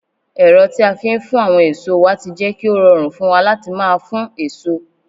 ero ti a fi n fun awon eso wa ti je ki o rorun fun wa lati maa fun eso